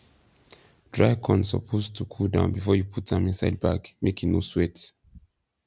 dry corn suppose to cool down before you put am inside bag make e no sweat